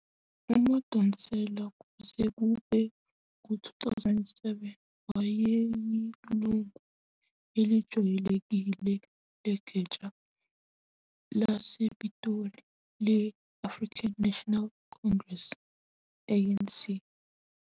UMadonsela, kuze kube ngu-2007, wayeyilungu elijwayelekile legatsha lasePitoli le-African National Congress, ANC.